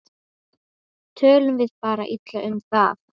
Tölum við bara illa um það?